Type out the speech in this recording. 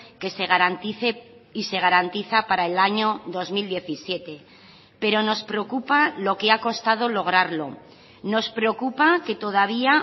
que se garantice y se garantiza para el año dos mil diecisiete pero nos preocupa lo que ha costado lograrlo nos preocupa que todavía